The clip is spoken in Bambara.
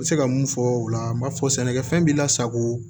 N bɛ se ka mun fɔ o la n b'a fɔ sɛnɛkɛfɛn b'i lasago